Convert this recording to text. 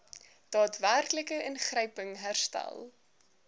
daadwerklike ingryping herstel